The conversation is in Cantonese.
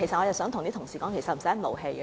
我想呼籲同事不要動氣。